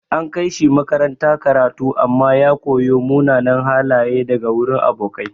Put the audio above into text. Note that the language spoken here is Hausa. An kai shi makaranta karatu amma ya koyo munanan halaye daga wurin abokai.